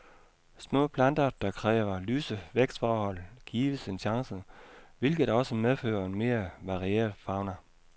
Små planter, der kræver lyse vækstforhold, gives en chance, hvilket også medfører en mere varieret fauna.